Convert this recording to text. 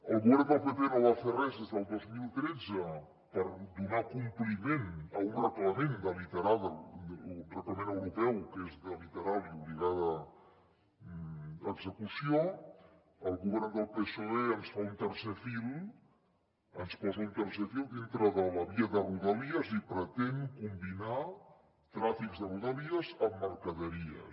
el govern del pp no va fer res des del dos mil tretze per donar compliment a un reglament europeu que és de literal i obligada execució el govern del psoe ens fa un tercer fil ens posa un tercer fil dintre de la via de rodalies i pretén combinar trànsits de rodalies amb mercaderies